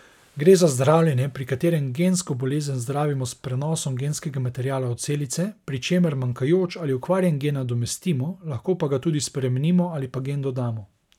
Gre za zdravljenje, pri katerem gensko bolezen zdravimo s prenosom genskega materiala v celice, pri čemer manjkajoč ali okvarjen gen nadomestimo, lahko pa ga tudi spremenimo ali pa gen dodamo.